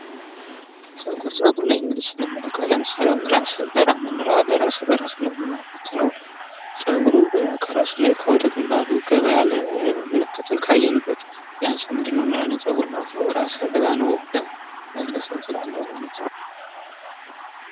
ፀጉር:- ፀጉር ላይ እንግዲህ ስንመለከት ለምሳሌ እራሰ በራ የምንለዉ አለ። እራሰ በራ ስንል ምን ማለት ነዉ? ፀጉሩ ከራሱ ላይ ከወደ ከግንባሩ ገባ ያለ ምልክትን ስንመለከት ያንን ሰዉ እራሰ በራ ነዉ ብለን መግለፅ እንችላለን ማለት ነዉ።